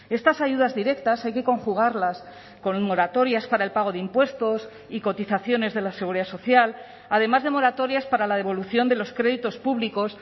estas ayudas directas hay que conjugarlas con moratorias para el pago de impuestos y cotizaciones de la seguridad social además de moratorias para la devolución de los créditos públicos